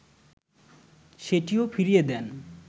সেটিও ফিরিয়ে দেন